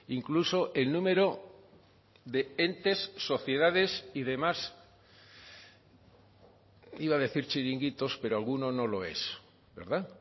incluso el número de entes sociedades y demás iba a decir chiringuitos pero alguno no lo es verdad